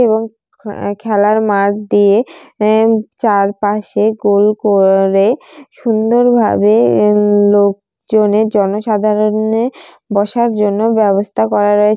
এবং হ্যা খেলার মাঠ দিয়ে এ চারপাশে গোল করে সুন্দরভাবে এ লোকজনে জনসাধারণে বসার জন্য ব্যবস্থা করা রয়ে --